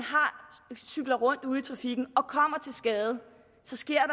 cykler rundt ude i trafikken og kommer til skade så sker